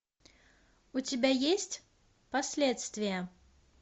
у тебя есть последствия